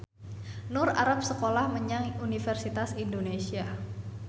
Nur arep sekolah menyang Universitas Indonesia